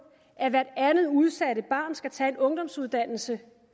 at hvert andet udsatte barn skal tage en ungdomsuddannelse